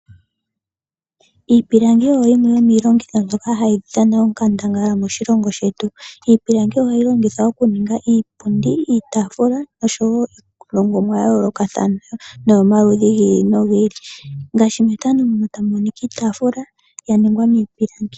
Iipilangi oyo yimwe mbyoka hayi dhana onkandangala moshilongo shetu. Iipilangi ohayi longithwa okuninga iipundi, iitaafula noshowo iilongomwa ya yoolokathana noyomaludhi gi ili nogi ili.